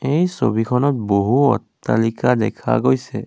এই ছবিখনত বহু অট্টালিকা দেখা গৈছে।